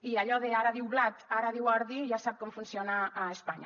i allò de ara diu blat ara diu ordi ja sap com funciona a espanya